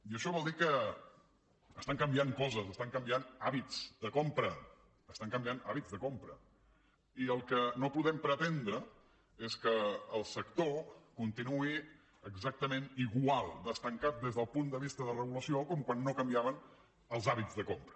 i això vol dir que estan canviant coses estan canviant hàbits de compra estan canviant hàbits de compra i el que no podem pretendre és que el sector continuï exactament igual d’estancat des del punt de vista de regulació com quan no canviaven els hàbits de compra